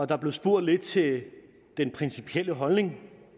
der blev spurgt lidt til den principielle holdning